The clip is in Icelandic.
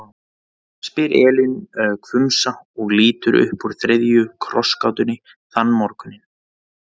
spyr Elín hvumsa og lítur upp úr þriðju krossgátunni þann morguninn.